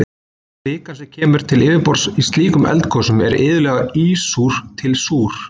Kvikan sem kemur til yfirborðs í slíkum eldgosum er iðulega ísúr til súr.